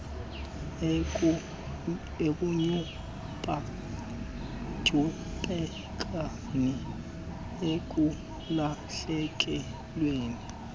ekuntyumpa ntyumpekeni ekulahlekelweni